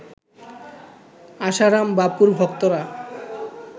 আশারাম বাপুর ভক্তরা